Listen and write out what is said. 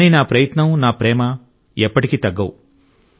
కానీ నా ప్రయత్నం నా ప్రేమ ఎప్పటికీ తగ్గవు